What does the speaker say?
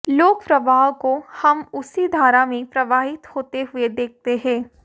लोक प्रवाह को हम उसी धारा में प्रवाहित होते हुए देखते हैं